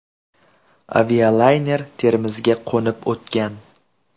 Avialayner Termizga qo‘nib o‘tgan.